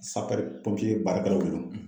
baarakɛlaw de don